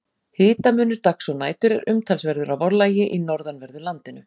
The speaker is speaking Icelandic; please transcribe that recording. Hitamunur dags og nætur er umtalsverður að vorlagi í norðanverðu landinu.